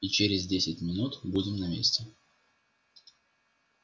и через десять минут будем на месте